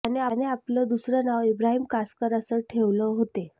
त्याने आपलं दुसरं नाव इब्राहिम कासकर असं ठेवलं होते